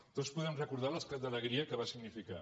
tots podem recordar l’estat d’alegria que va significar